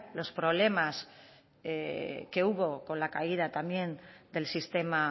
los problemas que hubo con la caída también del sistema